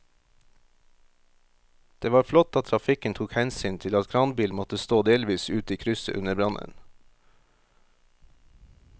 Det var flott at trafikken tok hensyn til at kranbilen måtte stå delvis ute i krysset under brannen.